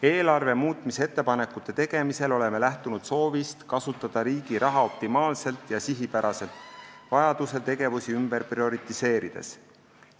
Eelarve muutmise ettepanekute tegemisel oleme lähtunud soovist kasutada riigi raha optimaalselt ja sihipäraselt, vajaduse korral tegevusi ümber prioriseerides.